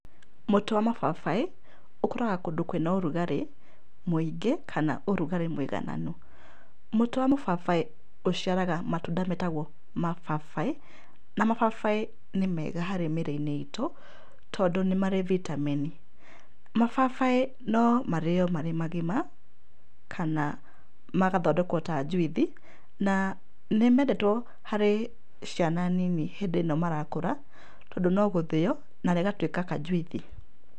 Mũtĩ wa mũbabaĩ ũkũraga kũndũ kwĩna ũrugarĩ mũingĩ kana ũrugarĩ mũigananu. Mũtĩ wa mũbabaĩ ũciaraga matunda metagwo mababaĩ, na mababaĩ nĩ mega harĩ mĩrĩ-inĩ itũ, tondũ nĩ marĩ vitamin. Mababaĩ no marĩo marĩ magima kana magathondekwo ta njuithi na nĩ mendetwo harĩ ciana nini hĩndĩ ĩno marakũra tondũ no gũthĩo na rĩgatuĩka kanjuithi.